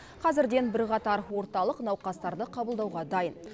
қазірден бірқатар орталық науқастарды қабылдауға дайын